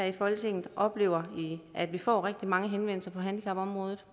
i folketinget oplever at vi får rigtig mange henvendelser på handicapområdet